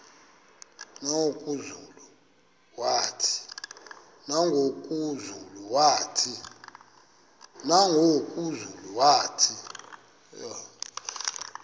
nangoku zulu uauthi